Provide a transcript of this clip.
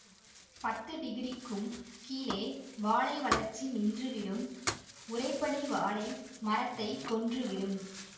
பத்து டிகிரிக்கும் கீழே வாழை வளர்ச்சி நின்றுவிடும் உறைபனி வாழை மரத்தைக் கொன்று விடும்